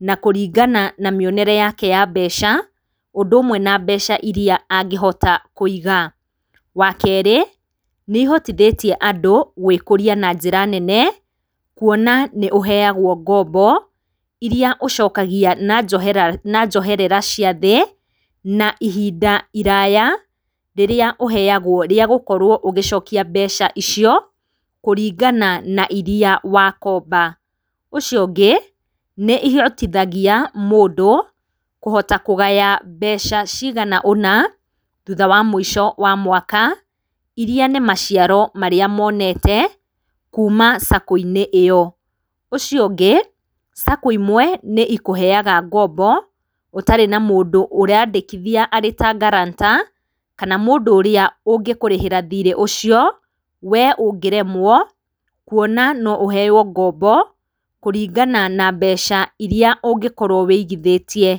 na kũrinagana na mĩonere yake ya mbeca, ũndũ ũmwe na mbeca iria angĩhota kũiga. Wa kerĩ, nĩ ihotithĩtie andũ gwĩkũria na njĩra nene, kuona nĩũheagwo ngombo irĩa ũcokagia na njoherera cia thĩ na ihinda iraya rĩrĩa ũheagwo rĩa gũkorwo ũgĩcokia mbeca icio kũrĩngana na ĩrĩa wakomba. Ũcio ũngĩ ĩhotithagĩa mũndũ kũhota kũgaya mbeca cĩigana ũna thũtha wa mũico wa mwaka irĩa ni maciaro marĩa monete kũma Sacco ĩnĩ ĩyo . Ũcio ũngĩ Sacco ĩmwe nĩ ikuheaga ngombo ũtarĩ na mũndũ ũrandĩkithia arĩ ta guarantor kana mũndũ ũrĩa ũngĩkũrĩhĩra thĩrĩ ũcio we ũngĩremwo, kũona no ũheywo ngombo kũrĩngana na mbeca irĩa ũngĩkorwo wĩigithĩtie.